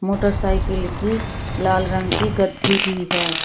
Motorcycle की लाल रंग की गद्दी भी है।